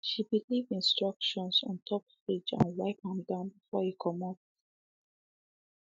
she be leave instructions ontop fridge and wiped am down before e comot